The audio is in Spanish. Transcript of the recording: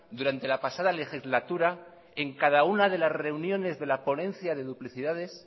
durante la pasada legislatura en cada una de las reuniones de la ponencia de duplicidades